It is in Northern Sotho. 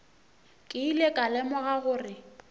ke ile ka lemoga gore